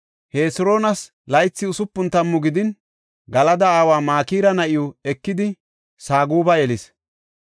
Hesiroonas laythi usupun tammu gidin, Galada aawa Makira na7iw ekidi Saguba yelis.